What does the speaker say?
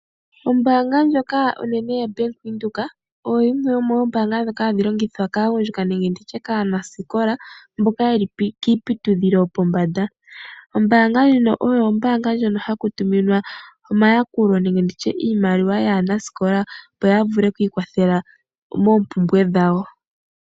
Ombaanga ndjoka onene ya Venduka oyo yimwe yomoombanga ndhoka hadhi longithwa kaagundjuka nenge kaanasikola mboka yeli kiiputudhilo yopombanda. Ombaanga ndjino oyo ombaanga ndjono haku tuminwa omayakulo nenge iimaliwa yaanasikola opo yavuke oku ikwathela moompumbwe dhawo.